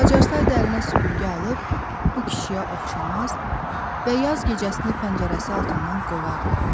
Bacarsaydı əlinə süpürgə alıb bu kişiyə oxşamaz və yaz gecəsini pəncərəsi altından qovardı.